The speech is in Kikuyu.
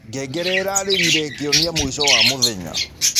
Ngengere ĩrarĩrĩre ĩkĩonĩa mũĩcho wa mũthenya.